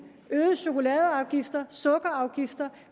øgede chokoladeafgifter sukkerafgifter